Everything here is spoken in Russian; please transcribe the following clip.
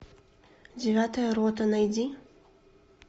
девятая рота найди